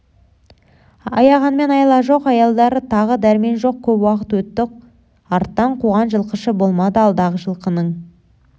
аяғанмен айла жоқ аялдар тағы дәрмен жоқ көп уақыт өтті арттан қуған жылқышы болмады алдағы жылқының